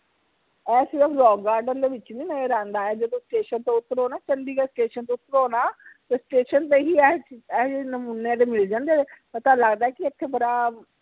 ਇਹ ਸਿਰਫ rock garden ਦੇ ਵਿਚ ਨੀ ਨਜ਼ਰ ਆਂਦਾ ਇਹ ਜਦੋ station ਤੋਂ ਉੱਤਰੋ ਨਾ ਚੰਡੀਗੜ੍ਹ station ਤੋਂ ਉੱਤਰੋ ਨਾ ਤੇ station ਤੇ ਹੀ ਇਹ ਜੇ ਨਮੂਨੇ ਮਿਲ ਜਾਂਦੇ ਪਤਾ ਲਗਦਾ ਕਿ ਇਥੇ ਬੜਾ